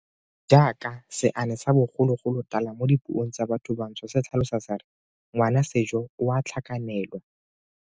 Jaaka seane sa bogologolotala mo dipuong tsa bathobantsho se tlhalosa se re ngwana ke sejo, o a tlhakanelwa.